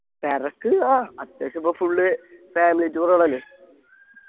തെരക്ക് ആ അത്യാവശ്യം ഇപ്പൊ full family tour ആണല്ലോ